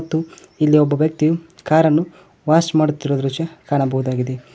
ಇಲ್ಲಿ ಒಬ್ಬ ವ್ಯಕ್ತಿಯು ಕಾರನ್ನು ವಾಶ್ ಮಾಡುತ್ತಿರುವ ದೃಶ್ಯ ಕಾಣಬಹುದಾಗಿದೆ.